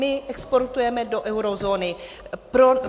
My exportujeme do eurozóny.